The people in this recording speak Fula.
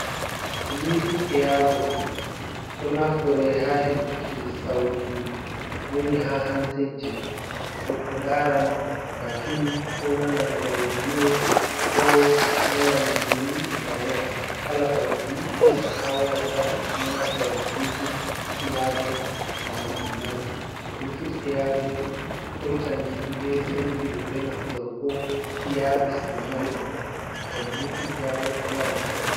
Bulutud ayabots do naftore ha hedutuki sautu woni ha hansejji .to goddo daran ba fim ko nanan raidiyo ko nanan gimyi iga waya kala sautu yi fiyata ha waya patdo naftora blutud eyabots gam dum nana blutut aabots hoitan himbe sendirbe be naftorgo iyapis dum mari boggol ngam blutud ayabot woya leson.